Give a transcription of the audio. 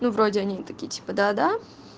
ну вроде они такие типа да да